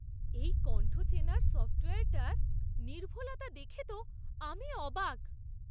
এই কণ্ঠ চেনার সফ্টওয়্যারটার নির্ভুলতা দেখে তো আমি অবাক!